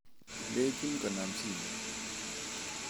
Ilejin konam simoit